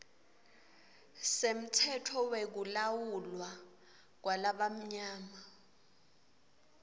semtsetfo wekulawulwa kwalabamnyama